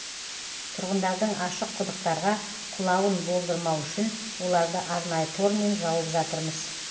тұрғындардың ашық құдықтарға құлауын болдырмау үшін оларды арнайы тормен жауып жатырмыз